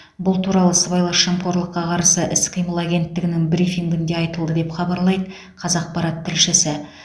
бұл туралы сыбайлас жемқорлыққа қарсы іс қимыл агентігінің брифингінде айтылды деп хабарлайды қазақпарат тілшісі